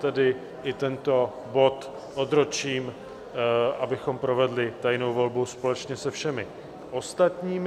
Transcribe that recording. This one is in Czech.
Tedy i tento bod odročím, abychom provedli tajnou volbu společně se všemi ostatními.